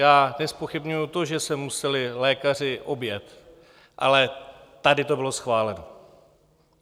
Já nezpochybňuji to, že se museli lékaři objet, ale tady to bylo schváleno.